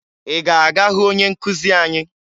Ị ga-aga hụ onye nkụzi anyị?